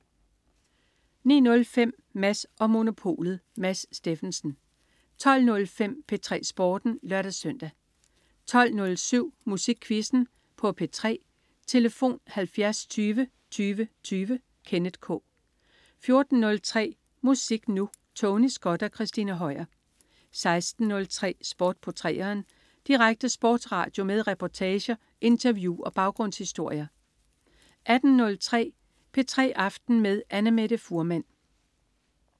09.05 Mads & Monopolet. Mads Steffensen 12.05 P3 Sporten (lør-søn) 12.07 Musikquizzen på P3. Tlf.: 70 20 20 20. Kenneth K 14.03 Musik Nu! Tony Scott og Christina Høier 16.03 Sport på 3'eren. Direkte sportsradio med reportager, interview og baggrundshistorier 18.03 P3 aften med Annamette Fuhrmann